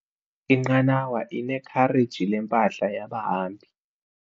Inqanawa inekhareji lempahla yabahambi.